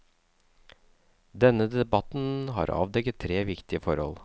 Denne debatten har avdekket tre viktige forhold.